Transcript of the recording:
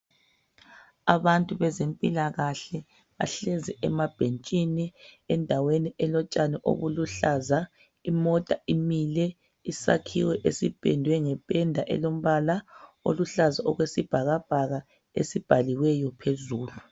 Abantu bezempilakahle bahlezi emabhentshini endaweni elotshani obuluhlaza. Imota imile, isakhiwo esipendwe ngependa elombala oluhlaza okwesibhakabhaka esibhaliweyo phezulu.